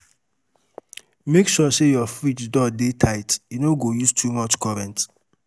Make sure sey your fridge door dey tight, e no go use too much current.